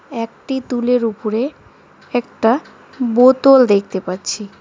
একতি তুলের উপরে একটা বোতল দেখতে পাচ্ছি।